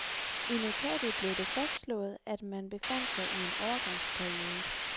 I notatet blev det fastslået, at man befandt sig i en overgangsperiode.